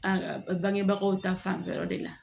A bangebagaw ta fanfɛ yɔrɔ de la